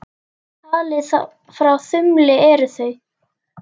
Talið frá þumli eru þau